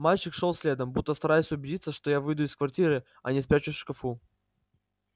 мальчик шёл следом будто стараясь убедиться что я выйду из квартиры а не спрячусь в шкафу